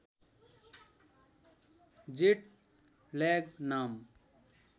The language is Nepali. जेट ल्याग नाम